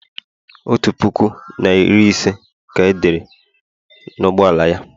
otu puku na iri ise ka e dere n'ụgbọ ala ya